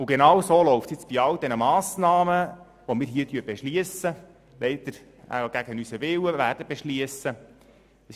Und genauso läuft es jetzt bei all diesen Massnahmen, die wir hier – leider gegen unseren Willen – beschliessen werden.